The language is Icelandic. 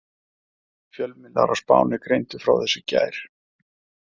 Fjölmiðlar á Spáni greindu frá þessu í gær.